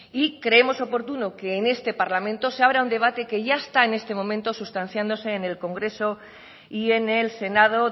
y creemos oportuno que en este parlamento se abra un debate que ya está en este momento sustanciándose en el congreso y en el senado